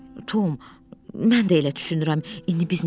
Tom, mən də elə düşünürəm, indi biz neyləyək?